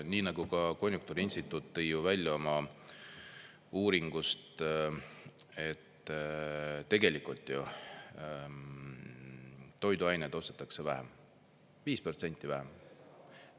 Nii nagu ka konjunktuuriinstituut tõi välja oma uuringus, et tegelikult ju toiduaineid ostetakse vähem, 5% vähem.